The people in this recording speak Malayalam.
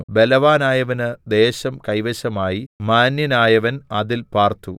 ബലവാനായവന് ദേശം കൈവശമായി മാന്യനായവൻ അതിൽ പാർത്തു